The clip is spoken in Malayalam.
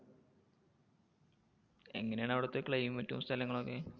എങ്ങനേണ് അവിടത്തെ climate ഉം സ്ഥലങ്ങളും ഒക്കെ?